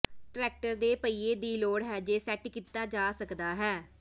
tractor ਦੇ ਪਹੀਏ ਦੀ ਲੋੜ ਹੈ ਜੇ ਸੈੱਟ ਕੀਤਾ ਜਾ ਸਕਦਾ ਹੈ